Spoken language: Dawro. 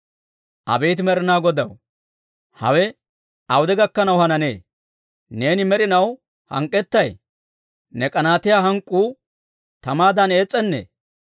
Abeet Med'inaa Godaw, hawe awude gakkanaw hananee? Neeni med'inaw hank'k'ettay? Ne k'anaatiyaa hank'k'uu tamaadan ees's'anee?